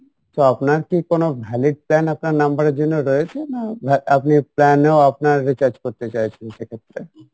so আপনার কী কোনো valid plan আপনার number এর জন্য রয়েছে না আপনি plan এ আপনার recharge করতে চাইছেন সেক্ষেত্রে?